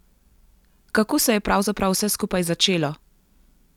Kako se je pravzaprav vse skupaj začelo?